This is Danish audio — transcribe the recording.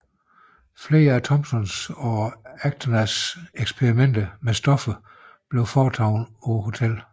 Flere af Thomsons og Acostas eksperimenter med stoffer blev foretaget på hotellet